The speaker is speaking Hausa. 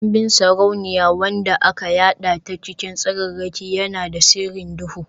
Kambin sarauniya wanda aka yada ta cikin tsararraki, yana da sirrin duhu.